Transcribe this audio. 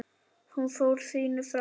Hún fór sínu fram.